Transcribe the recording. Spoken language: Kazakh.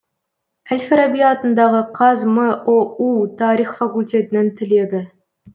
әл фараби атындағы қазмұу тарих факультетінің түлегі